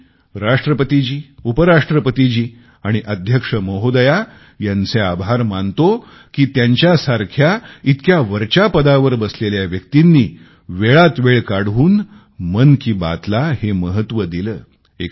मी राष्ट्रपतीजी उपराष्ट्रपतीजी आणि अध्यक्ष महोदया यांचे आभार मानतो की त्यांच्यासारख्या उच्च पदावरील व्यक्तींनी वेळात वेळ काढून मन की बात ला हे महत्व दिले